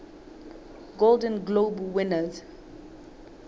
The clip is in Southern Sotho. golden globe winners